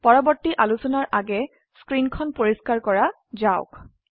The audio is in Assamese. পৰবৰ্তী আলোচনাৰ আগে স্ক্ৰিন খন পৰিস্কাৰ কৰা যাওক